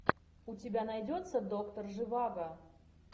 у тебя найдется доктор живаго